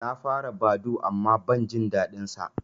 Na fara Badoo amma ban jin daɗin sa